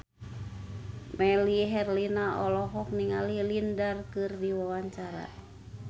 Melly Herlina olohok ningali Lin Dan keur diwawancara